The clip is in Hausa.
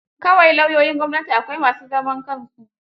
Kawai lauyoyin gwamnati, akwai ma su zaman kansu.